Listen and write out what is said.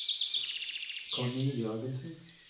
Connie Jørgensen